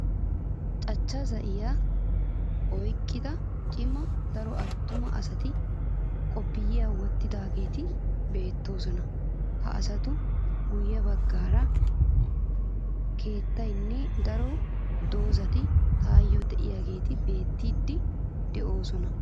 Cachcha zayyiyaa oyikkidi cima daro attuma asati qophiya wottidaageeti beettoosona.ha asatuppe guyye baggaara keettatinne daro dozzati tayyoo diyageeti beettiiddi doosona.